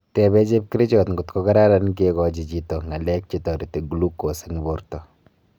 Tepee chepkerichot kotkokararan kekachi chito ngalek chetareti glucose eng porta